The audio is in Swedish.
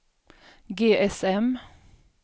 GSM